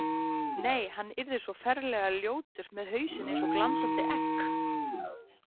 Nei, hann yrði svo ferlega ljótur með hausinn eins og glansandi egg.